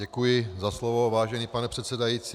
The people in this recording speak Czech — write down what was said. Děkuji za slovo, vážený pane předsedající.